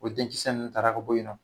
O denkisɛ ninnu tara ka bɔ yen nɔ